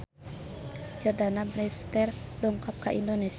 Jordana Brewster dongkap ka Indonesia